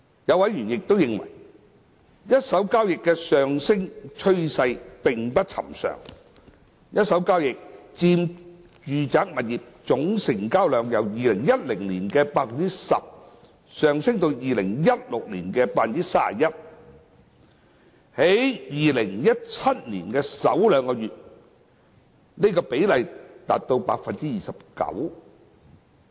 有委員亦認為，一手交易的上升趨勢並不尋常：一手交易佔住宅物業總成交量由2010年的 10% 上升至2016年的 31%， 而在2017年的首兩個月，這個比例達 29%。